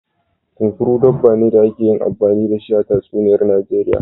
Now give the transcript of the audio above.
Kunkuru, dabba ne da ake yi amfani da shi a tatsuniyar Najeriya.